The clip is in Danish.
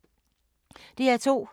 DR2